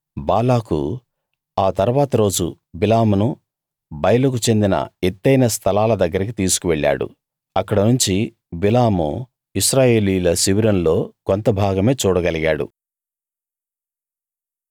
బాలాకు ఆ తరువాత రోజు బిలామును బయలుకు చెందిన ఎత్తైన స్థలాల దగ్గరికి తీసుకు వెళ్ళాడు అక్కడనుంచి బిలాము ఇశ్రాయేలీయుల శిబిరంలో కొంత భాగమే చూడగలిగాడు